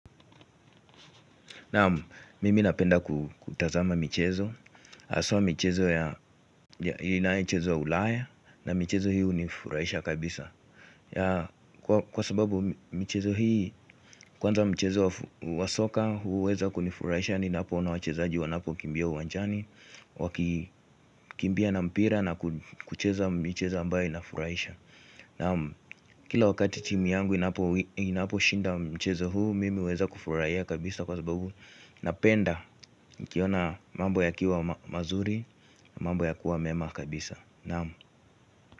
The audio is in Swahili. Naam mimi napenda kutazama michezo haswa michezo ya inayo chezwa ulaya. Na michezo hiihu ni furahisha kabisa. Kwa sababu michezo hii kwanza mchezo wa soka huu weza kunifurahisha. Ni napoo na wachezaji wanapo kimbia uwanjani. Wakikimbia na mpira na kucheza ambayo ina furaisha. Naam kila wakati timu yangu inapo shinda mchezo huu. Mimi huweza kufurahia kabisa kwa sababu na penda, nikiona mambo ya kiwa mazuri. Mambo ya kiwa mema kabisa. Naamu.